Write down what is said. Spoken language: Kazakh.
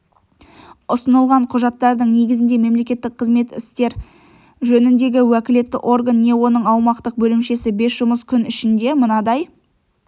ұсынылған құжаттардың негізінде мемлекеттік қызмет істері жөніндегі уәкілетті орган не оның аумақтық бөлімшесі бес жұмыс күні ішінде мынадай